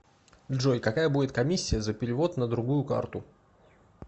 джой какая будет комиссия за перевод на другую карту